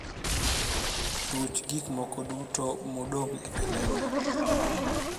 ruch gik moko duto modong e kalenda